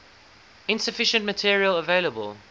insufficient material available